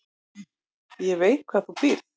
Ég veit hvar þú býrð